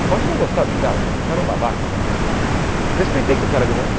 Eu posso não gostar do cara, achava o cara um babaca, mas respeitei que o cara ganhou.